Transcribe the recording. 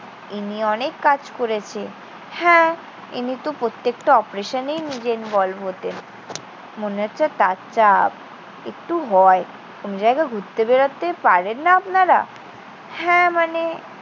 ইনি অনেক কাজ করেছে। হ্যাঁ, ইনিতো প্রত্যেকটা operation এ নিজেই involve হতেন। মনে হচ্ছে তার চাপ। একটু ভয়। কোনো জায়গা ঘুরতে বেড়াতে পারেন না আপনারা? হ্যাঁ, মানে